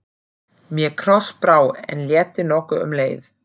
Mér krossbrá, en létti nokkuð um leið.